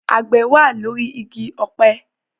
Àgbẹ̀ wà lórí igi ọ̀pẹ